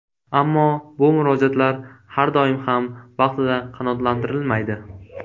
Ammo bu murojaatlar har doim ham vaqtida qanoatlantirilmaydi.